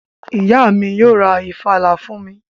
Ìyá mi yóò ra ìfàlà fún mi